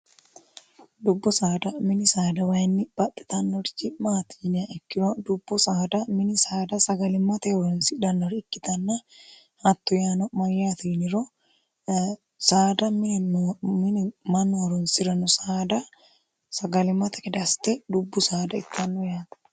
dubbu saada mini saada wayinni baxxitannorchi maatininiya ikkiro dubbu saada mini saada sagalimmata heoronsi dhannori ikkitanna hattu yaano mayyaatiniro saada minimanooronsi'rano saada sagalimmata kedaste dubbu saada ittanno yaato